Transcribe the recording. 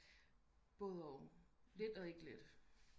Både og lidt og ikke lidt